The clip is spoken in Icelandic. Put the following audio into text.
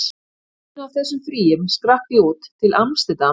Í einu af þessum fríum skrapp ég út, til amsterdam og